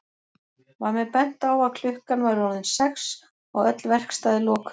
Var mér bent á að klukkan væri orðin sex og öll verkstæði lokuð.